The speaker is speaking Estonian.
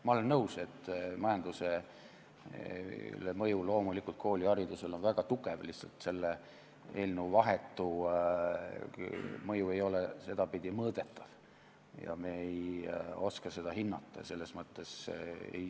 Ma olen nõus, et mõju majandusele on kooliharidusel väga tugev, lihtsalt selle eelnõu vahetu mõju ei ole sedapidi mõõdetav ja me ei oska seda hinnata.